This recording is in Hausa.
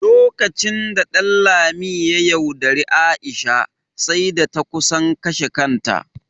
Lokacin da Ɗanlami ya yaudari Aisha, sai da ta kusan kashe kanta.